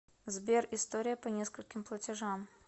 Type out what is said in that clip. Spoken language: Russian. сбер история по нескольким платежам